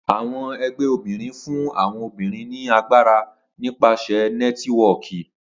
Awọn ẹgbẹ obinrin fun awọn obinrin ni agbara nipasẹ Nẹtiwọọki.